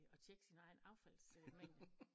At tjekke sin egen affalds øh mængde